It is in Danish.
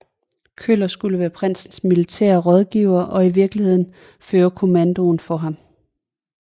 Köller skulle være prinsens militære rådgiver og i virkeligheden føre kommandoen for ham